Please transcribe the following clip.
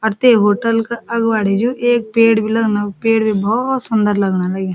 और ते होटल का अगवाड़ी जु एक पेड़ भी लगणु पेड़ भी भौत सुन्दर लगण लग्युं।